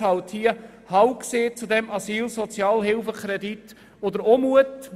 Es hat diesen Sozialhilfekredit abgelehnt.